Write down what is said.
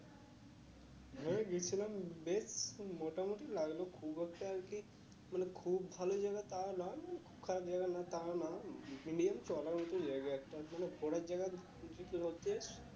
এই গেছিলাম বেশ মোটামুটি লাগলো খুব একটা কি মানে খুব ভালো জায়গা তা নয় খুব খারাপ জায়গা না তাও নয় medium চলার মতো জায়গা একটা তার জন্য পরের জায়গা হচ্ছে